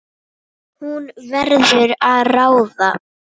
Hún verður að ráða.